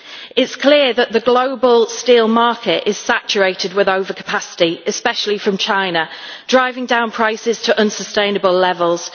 It is clear that the global steel market is saturated with overcapacity, especially from China, driving down prices to unsustainable levels.